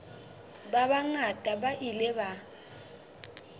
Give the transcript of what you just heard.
ba bangata ba ile ba